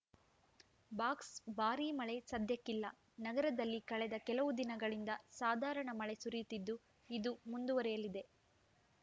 box ಬಾರಿ ಮಳೆ ಸದ್ಯಕ್ಕೆ ಇಲ್ಲಾ ನಗರದಲ್ಲಿ ಕಳೆದ ಕೆಲವು ದಿನಗಳಿಂದ ಸಾಧಾರಣ ಮಳೆ ಸುರಿಯುತಿದ್ದು ಇದು ಮುಂದುವರಿಯಲಿದೆ